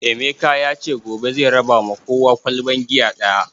Emeka yace gobe zai raba ma kowa ƙwalban giya ɗaya